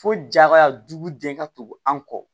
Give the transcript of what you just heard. Fo jakajugu den ka tugu an kɔ